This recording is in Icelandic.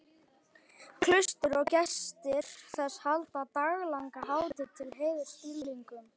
Klaustrið og gestir þess halda daglanga hátíð til heiðurs dýrlingnum.